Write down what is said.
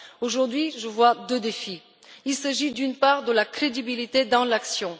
Aujourd'hui, je vois deux défis il s'agit, d'une part, de la crédibilité dans l'action.